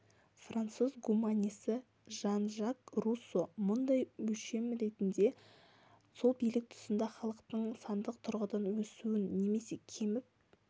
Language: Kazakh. француз гуманисі жан-жак руссо мұндай өлшем ретінде сол билік тұсында халықтың сандық тұрғыдан өсуін немесе кеміп